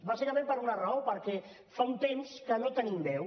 bàsicament per una raó perquè fa un temps que no hi tenim veu